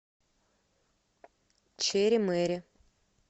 чери мэри